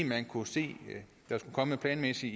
man kunne se planmæssigt